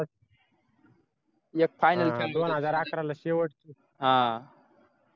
एक final दोन हजार अकरा ला शेवटचं